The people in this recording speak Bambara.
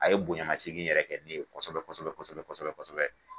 A ye bonyamasegin yɛrɛ kɛ ne ye kɔsɛbɛ kɔsɛbɛ kɔsɛbɛ kɔsɛbɛ.